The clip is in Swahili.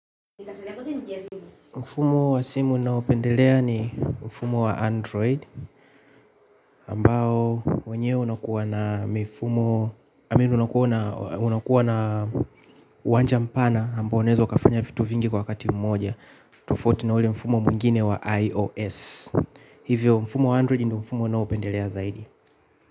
Mfumo wa simu ninaopendelea ni mfumo wa Android ambao, wenyewe unakuwa na mifumo, i mean unakuwa na uwanja mpana ambao unaeza ukafanya vitu vingi kwa kati mmoja tofauti na ule mfumo mwingine wa iOS. Hivyo, mfumo wa Android ndio mfumo ninaopendelea zaidi.